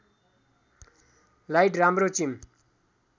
light राम्रो चिम